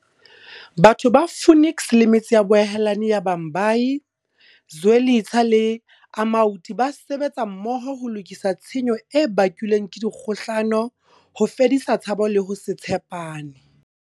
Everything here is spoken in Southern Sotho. Batho ba Phoenix le metse ya boahelani ya Bhambayi, Zwelitsha le Amaoti ba sebetsa mmoho ho lokisa tshenyo e bakilweng ke dikgohlano, ho fedisa tshabo le ho se tshepane.